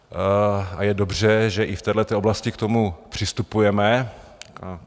A je dobře, že i v téhle oblasti k tomu přistupujeme.